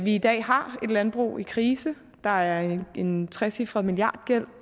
i dag har et landbrug i krise der er en trecifret milliardgæld